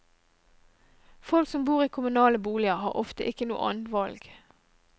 Folk som bor i kommunale boliger, har ofte ikke noe annet valg.